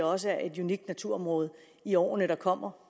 også er et unikt naturområde i årene der kommer